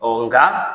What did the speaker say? Ɔ nka